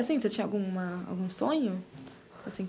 Assim, você tinha alguma algum sonho, assim?